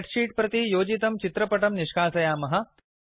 spread sheet प्रति योजितं चित्रपटं निष्कासायामः